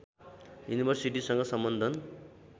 युनिभर्सिटीसँग सम्बन्धन